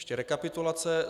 Ještě rekapitulace.